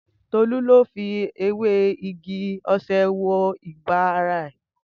Tolu lo fi ewe igi ose wo iba re